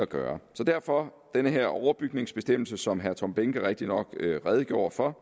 gøre så derfor er der den her overbygningsbestemmelse som herre tom behnke rigtignok redegjorde for